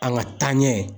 An ka taa ɲɛ